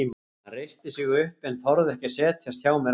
Hann reisti sig upp en þorði ekki að setjast hjá mér aftur.